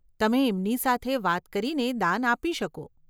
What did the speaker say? તમે એમની સાથે વાત કરીને દાન આપી શકો.